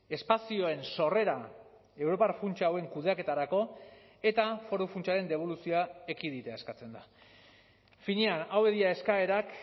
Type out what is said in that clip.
espazioen sorrera europar funtsa hauen kudeaketarako eta foru funtsaren deboluzioa ekiditea eskatzen da finean hauek dira eskaerak